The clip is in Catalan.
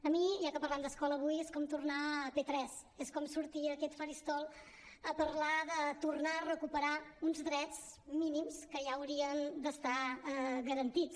a mi ja que parlem d’escola avui és com tornar a p3 és com sortir a aquest faristol a parlar de tornar a recuperar uns drets mínims que ja haurien d’estar garantits